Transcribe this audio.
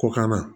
Kɔkan na